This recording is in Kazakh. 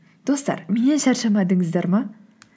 достар меннен шаршамадыңыздар ма